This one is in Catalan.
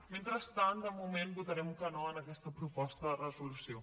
mentrestant de moment votarem que no en aquesta proposta de resolució